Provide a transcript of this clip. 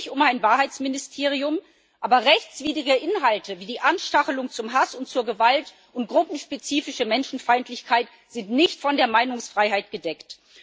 Es geht hier nicht um ein Wahrheitsministerium, aber rechtswidrige Inhalte wie die Anstachelung zum Hass und zur Gewalt und gruppenspezifische Menschenfeindlichkeit sind nicht von der Meinungsfreiheit gedeckt.